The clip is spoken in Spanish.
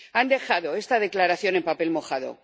Han dejado esta declaración en papel mojado.